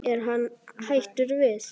Er hann hættur við?